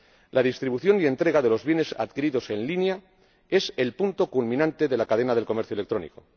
La distribución y entrega de los bienes adquiridos en línea es el punto culminante de la cadena del comercio electrónico.